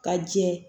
Ka jɛ